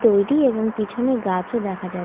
তৈরী এবং পিছনে গাছও দেখা যা--